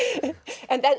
en